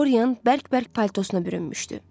Doryan bərk-bərk paltosuna bürünmüşdü.